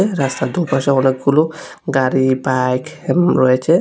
রাস্তার দু-পাশে অনেকগুলো গাড়ি বাইক রয়েছে।